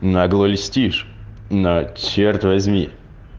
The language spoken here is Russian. нагло льстишь но черт возьми